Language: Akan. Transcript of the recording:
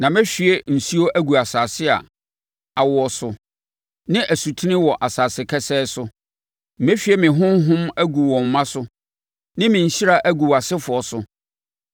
Na mɛhwie nsuo agu asase a awo no so, ne asutene wɔ asase kesee so; mɛhwie me Honhom agu wo mma so, ne me nhyira agu wʼasefoɔ so.